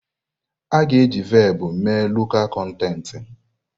A ga-eji Velpụ mee lọkal kọntentị.